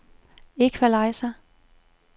equalizer